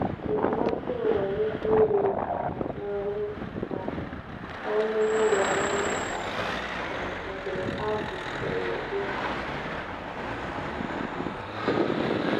Ejima atụrụ nwere ike iri um nri um ọnụ n’ụlọ nri nta um mgbe a gwụsịrị ịkụ.